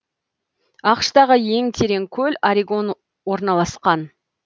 ақш тағы ең терең көл орегон орналасқан